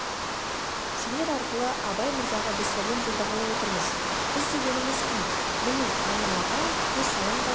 сендер арқылы абай мырзаға біз сәлем жолдағалы отырмыз біз дегеніміз кім міне айнала көз салыңдар да